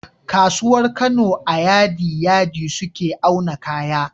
Kasuwar Kano a yadi yadi suke auna kaya